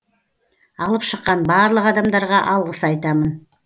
алып шыққан барлық адамдарға алғыс айтамын